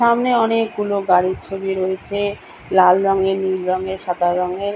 সামনে অনেকগুলো গাড়ির ছবি রয়েছে-এ। লাল রঙের নীল রঙের সাদা রঙের।